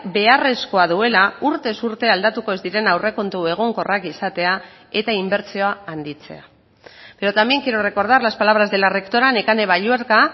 beharrezkoa duela urtez urte aldatuko ez diren aurrekontu egonkorrak izatea eta inbertsioa handitzea pero también quiero recordar las palabras de la rectora nekane balluerka